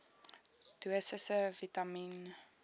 dosisse vitamien